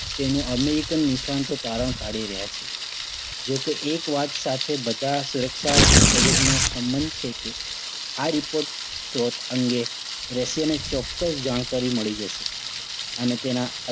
તેનું American નિષ્ણાંતો તરણ કાઢી રહ્યા છે. જો કે એક વાત સાથે બધા સુરક્ષા નો સંબંધ છે કે આ report સ્ત્રોત અંગે રશિયાને ચોક્કસ જાણકારી મળી જશે. અને તેના